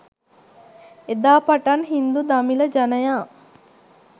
එදා පටන් හින්දු දමිළ ජනයා